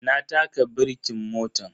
Na taka birkin motan.